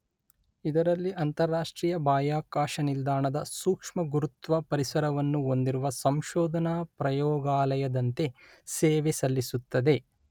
ಇದರಲ್ಲಿ ಅಂತರರಾಷ್ಟ್ರೀಯ ಬಾಹ್ಯಾಕಾಶ ನಿಲ್ದಾಣದ ಸೂಕ್ಷ್ಮಗುರುತ್ವ ಪರಿಸರವನ್ನು ಹೊಂದಿರುವ ಸಂಶೋಧನಾ ಪ್ರಯೋಗಾಲಯದಂತೆ ಸೇವೆಸಲ್ಲಿಸುತ್ತದೆ.